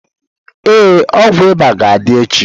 Ee, ọgwụ ịba ga-adị echi.